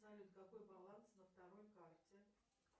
салют какой баланс на второй карте